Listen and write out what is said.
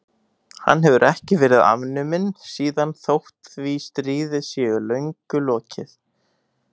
Hann hefur ekki verið afnuminn síðan þótt því stríði sé löngu lokið.